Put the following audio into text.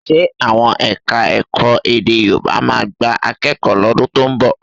Ṣe àwọn Ẹ̀ka-ẹ̀kọ́ èdè Yorùbá máa gba akẹ́kọ̀ọ́ lọ́dún tó ń bọ̀?